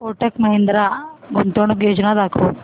कोटक महिंद्रा गुंतवणूक योजना दाखव